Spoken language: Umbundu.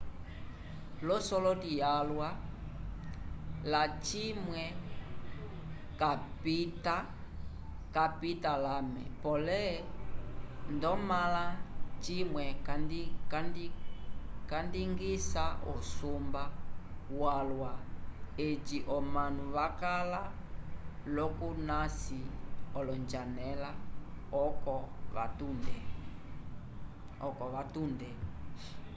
l'osoloti yalwa lacimwe capita lame pole ndamõla cimwe candingisa usumba walwa eci omanu vakala l'okunasi olonjanela oco vatunde